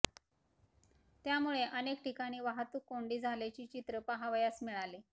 त्यामुळे अनेक ठिकाणी वाहतूक कोंडी झाल्याचे चित्र पहावयास मिळाले